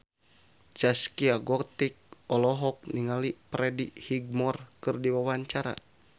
Zaskia Gotik olohok ningali Freddie Highmore keur diwawancara